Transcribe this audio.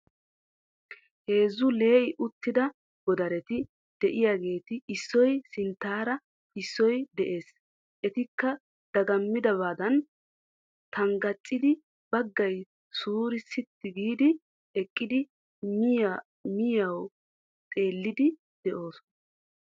Heezzu lee"i uttida godareti de"iyaageeti issoy sinttaara issoy de'ees. Etikka dagamidabadan tangaccidi baggay suure sitti giidi eqqidi miyiyawu xeelliiddi de'oosona.